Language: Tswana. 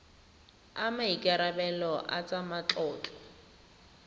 a maikarebelo a tsa matlotlo